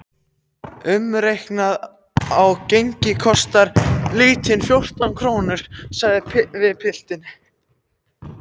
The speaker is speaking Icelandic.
Umreiknað á gengi kostar lítrinn fjórtán krónur, sagði pilturinn.